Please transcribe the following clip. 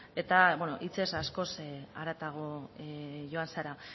eta hitzez askoz haratago joan zara